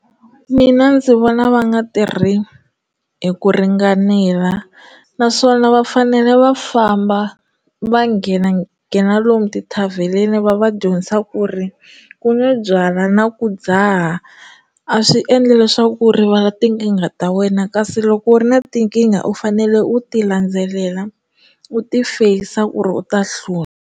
Mina ndzi vona va nga tirhi hi ku ringanela naswona va fanele va famba va nghena nghena lomu tithavhenini va va dyondzisa ku ri ku nge byala na ku dzaha a swi endle leswaku ku rivala tinkingha ta wena kasi loko u ri na tinkingha u fanele u ti landzelela u ti facer ku ri u ta hlula.